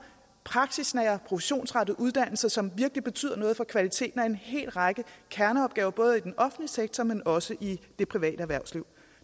praksisnære professionsrettede uddannelser som virkelig betyder noget for kvaliteten af en hel række kerneopgaver både i den offentlige sektor men også i det private erhvervsliv